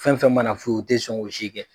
Fɛn fɛn mana na f'u ye u te sɔn k'o si kɛ